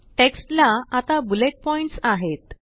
text ला आता bullet points आहेत